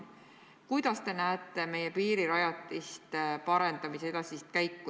Millisena te näete meie piirirajatiste parandamise edasist käiku?